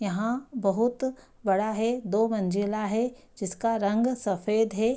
यहाँ बहुत बड़ा है दो मंजिला है जिसका रंग सफ़ेद है।